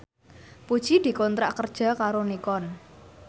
Puji dikontrak kerja karo Nikon